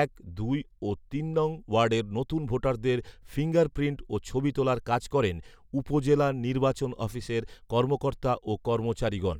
এক, দুই ও তিন নং ওয়ার্ডের নতুন ভোটারদের ফিঙ্গার প্রিন্ট ও ছবি তোলার কাজ করেন উপজেলা নির্বাচন অফিসের কর্মকর্তা ও কর্মচারীগণ